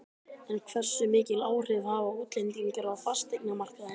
En hversu mikil áhrif hafa útlendingar á fasteignamarkaðinn?